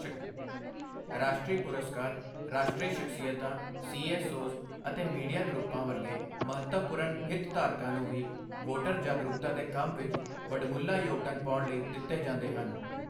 ਰਾਸ਼ਟਰੀ ਪੁਰਸਕਾਰ ਰਾਸ਼ਟਰੀ ਸ਼ਖ਼ਸੀਅਤਾਂ, ਸੀਐਸਓ ਜ਼ ਅਤੇ ਮੀਡੀਆ ਗਰੁੱਪਾਂ ਵਰਗੇ ਮਹੱਤਵਪੂਰਨ ਹਿੱਤਧਾਰਕਾਂ ਨੂੰ ਵੀ ਵੋਟਰ ਜਾਗਰੂਕਤਾ ਦੇ ਕੰਮ ਵਿਚ ਵਡਮੁੱਲਾ ਯੋਗਦਾਨ ਪਾਉਣ ਲਈ ਦਿੱਤੇ ਜਾਂਦੇ ਹਨ।